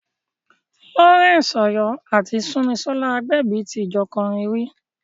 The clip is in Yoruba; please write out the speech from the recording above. Lawrence Oyor àti Sunmisola Agbebi ti jọ kọrin rí.